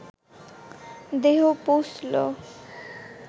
দেহ পৌঁছল